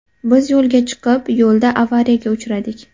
Biz yo‘lga chiqib, yo‘lda avariyaga uchradik”.